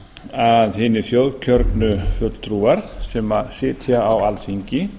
að hinir þjóðkjörnu fulltrúar sem sitja á alþingi